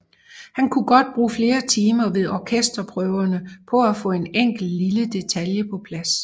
Han kunne godt bruge flere timer ved orkesterprøverne på at få en enkelt lille detalje på plads